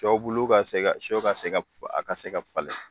Dɔw bulu ka se ka son ka se ka a ka se ka falen